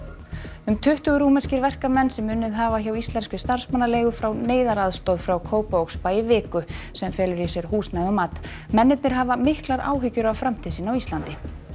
um tuttugu rúmenskir verkamenn sem unnið hafa hjá íslenskri starfsmannaleigu fá neyðaraðstoð frá Kópavogsbæ í viku sem felur í sér húsnæði og mat mennirnir hafa miklar áhyggur af framtíð sinni á Íslandi